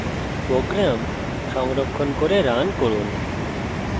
program সংরক্ষণ করে run run